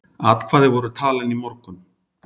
Atkvæði voru talin í morgun